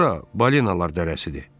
Bura balinalar dərəsidir.